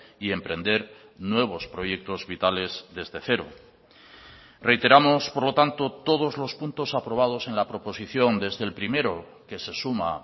y emprender nuevos proyectos vitales desde cero reiteramos por lo tanto todos los puntos aprobados en la proposición desde el primero que se suma